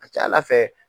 A ka ca ala fɛ